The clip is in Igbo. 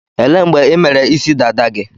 Elee mgbe ị mere isi dada gị?